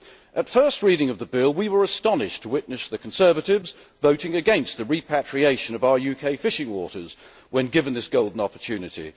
At first reading we were astonished to witness the Conservatives voting against the repatriation of our UK fishing waters when given this golden opportunity.